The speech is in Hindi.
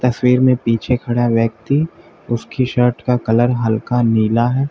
तस्वीर में पीछे खड़ा व्यक्ति उसकी शर्ट का कलर हल्का नीला है।